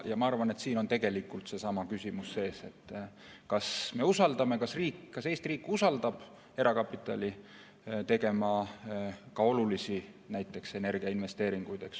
Ma arvan, et siin on tegelikult seesama küsimus, kas on usaldus, kas riik, Eesti riik usaldab erakapitali tegema ka olulisi, näiteks energiainvesteeringuid.